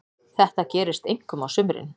Þetta gerist einkum á sumrin.